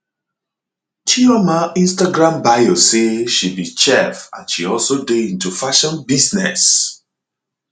chioma instagram bio say she be chef and she also dey into fashion business